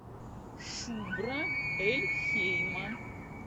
шубра эль хейма